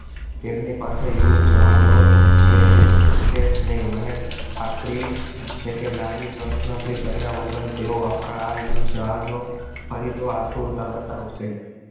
તેમની પાસે યુદ્ધ જહાજો છે છે જ નહીં મને ખાતરી છે કે લાંબી પ્રશ્નોતરી કર્યા વગર તેઓ આપણા આ યુદ્ધ જ જહાજો ખરીદવા આતુરતા બતાવશે